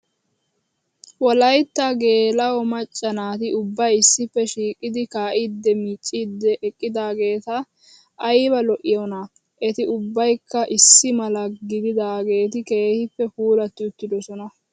Wolayitta geela"o macca naati ubbayi issippe shiiqidi kaa"iiddi micciddi eqqidaageeti ayiba lo"iyoonaa. Eti ubbayikka issi mala gididaageeti keehippe puulatti uttidosona.